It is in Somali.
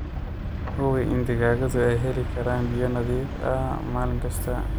Hubi in digaagadu ay heli karaan biyo nadiif ah maalin kasta.